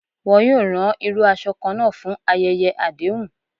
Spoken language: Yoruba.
Wọn yoo ran iru aṣọ kanna fun ayẹyẹ adehun.